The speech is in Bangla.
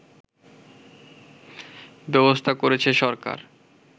ব্যবস্থা করেছে সরকার